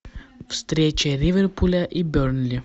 встреча ливерпуля и бернли